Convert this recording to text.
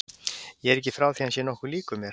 Ég er ekki frá því að hann sé nokkuð líkur mér.